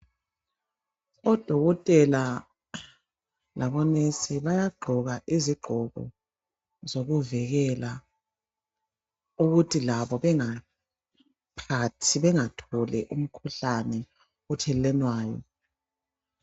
Odokotela labonesi bayagqoka izigqoko zokuvikela ukuthi labo bengatholi umikhuhlane ethelelwanayo.